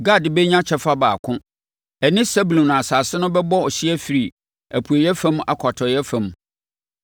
Gad bɛnya kyɛfa baako; ɛne Sebulon asase no bɛbɔ hyeɛ afiri apueeɛ fam akɔ atɔeɛ fam.